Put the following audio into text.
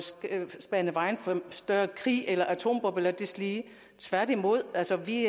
bane vejen for en større krig eller atombomber eller deslige tværtimod altså vi